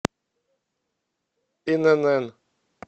инн